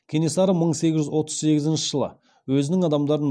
кенесары мың сегіз жүз отыз сегізінші жылы өзінің адамдарын